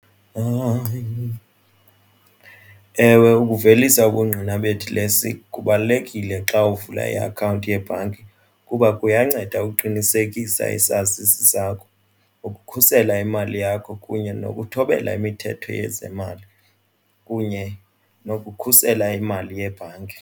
Ewe, ukuvelisa ubungqina bedilesi kubalulekile xa uvula iakhawunti yebhanki kuba kuyanceda uqinisekisa isazisi sakho ukukhusela imali yakho kunye nokuthobela imithetho yezemali kunye nokukhusela imali yebhanki.